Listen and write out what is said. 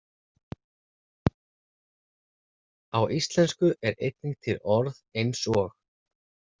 Á íslensku er einnig til orð eins og.